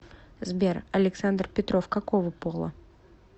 сбер александр петров какого пола